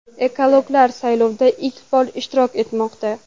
Ekologlar saylovda ilk bor ishtirok etmoqda.